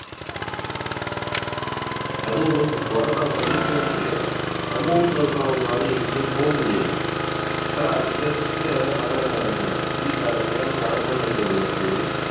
அதுவும் இந்த corona முடிஞ்ச உடனே நம்ம வீட்டுல இருக்கிறவங்களால எங்கயும் போக முடியலை ஆனா அங்க இருக்க வட ஆஹ் ஹிந்திக்காரங்க வடமாநிலத்தவர்கள் வந்து